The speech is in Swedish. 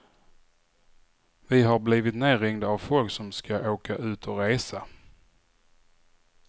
Vi har blivit nerringda av folk som ska åka ut och resa.